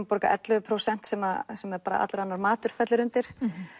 borga ellefu prósent sem sem allur annar matur fellur undir